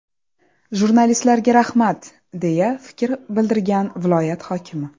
Jurnalistlarga rahmat”, deya fikr bildirgan viloyat hokimi.